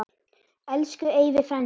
Elsku Eyvi frændi.